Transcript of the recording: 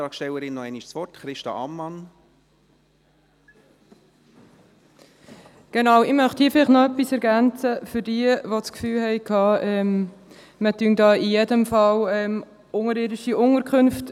Ich möchte hier vielleicht noch etwas für jene ergänzen, die das Gefühl haben, man verhindere hier auf jeden Fall unterirdische Unterkünfte.